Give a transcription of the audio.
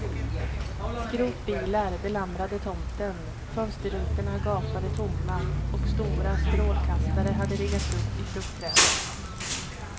Skrotbilar belamrade tomten, fönsterrutorna gapade tomma och stora strålkastare hade riggats upp i fruktträden.